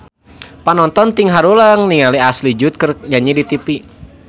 Panonton ting haruleng ningali Ashley Judd keur nyanyi di tipi